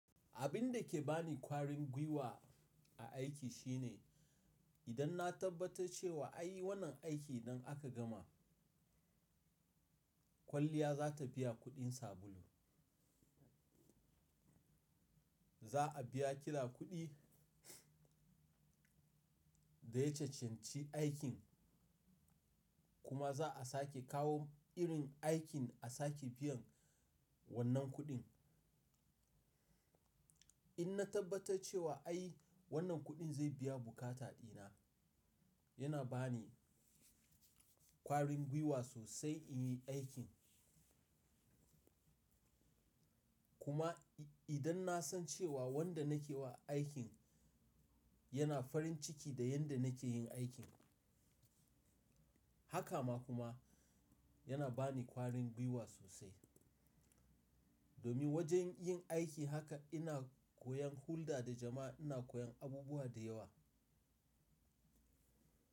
Abin da ke ba ni kwarin gwiwa a aiki shine idan na tabbatar cewa ai wannan aikin idan aka gama kwalliya za ta biya kuɗin sabulu. Za a biya kira kuɗi da ya cancanci aikin kuma za a sake kawo irin aikin a sake biyan wannan kuɗin. In na tabbatar cewa ai wannan kuɗin zai biya bukata dina yana ba ni kwarin gwiwa sosai in yi aikin. Kuma idan na san cewa wanda nake wa aikin yana farin ciki da yanda nake yin aikin, haka ma kuma yana ba ni kwarin gwiwa sosai. Domin wajen yin aiki haka ina koyon hulɗa da jama'a, ina koyon abubuwa da yawa.